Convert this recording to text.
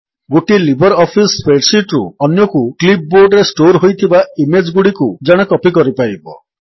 ଗୋଟିଏ LibreOffice spreadsheet ରୁ ଅନ୍ୟକୁ କ୍ଲିପ୍ ବୋର୍ଡରେ ଷ୍ଟୋର୍ ଥିବା ଇମେଜ୍ ଗୁଡ଼ିକୁ ଜଣେ କପୀ କରିପାରିବ